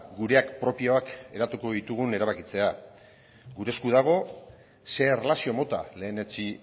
gureak propioak hedatuko ditugun erabakitzea gure esku dago ze erlazio mota lehenetsi